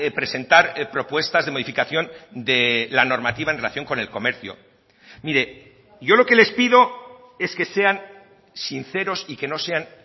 presentar propuestas de modificación de la normativa en relación con el comercio mire yo lo que les pido es que sean sinceros y que no sean